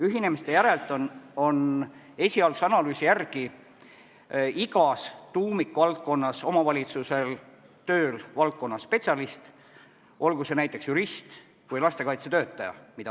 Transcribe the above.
Ühinemiste järel on esialgse analüüsi järgi igas tuumikvaldkonnas omavalitsusel tööl valdkonnaspetsialist, olgu see näiteks jurist või lastekaitsetöötaja.